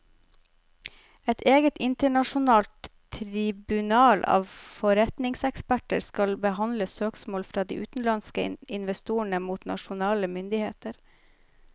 Et eget internasjonalt tribunal av forretningseksperter skal behandle søksmål fra de utenlandske investorene mot nasjonale myndigheter.